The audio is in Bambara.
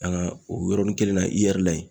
An ka o yɔrɔnin kelen na IER la ye